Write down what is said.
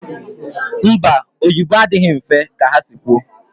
Mba, oyibo adịghị mfe ọsụsu ka ha si kwu